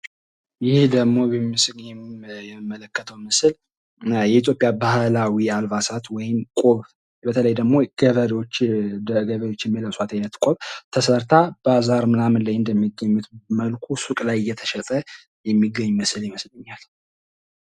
ይህ ደግሞ በምስሉ ላይ የምንመለከተው የኢትዮጵያ ባህላዊ አልባሳት ወይም ደግሞ ቆብ በተለይ ደግሞ ገበሬዎች የሚለብሱት አይነት ቆብ ተሰርታ ባዛር ላይ እንደሚሸጠው አይነት ስር ላይ እየተሸጠ ይመስለኛል።